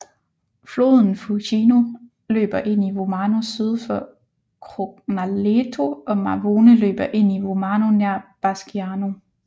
Floden Fucino løber ind i Vomano syd for Crognaleto og Mavone løber ind i Vomano nær Basciano